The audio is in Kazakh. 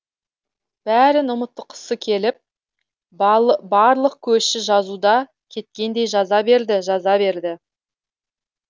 бәрін ұмытқысы келіп барлықөші жазуда кеткендей жаза берді жаза берді